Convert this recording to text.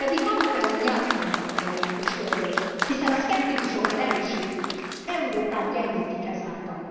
Pedig maguk ellen játszanak, uraim és hölgyeim, hiszen a szkeptikusokat erősítik, Európát gyengítik ezáltal.